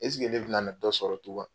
ne bɛ nana dɔ sɔrɔ tugun wa?